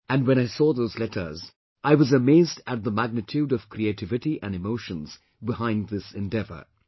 And when I saw those letters, I used to be amazed at the magnitude of creativity and emotions behind this endeavour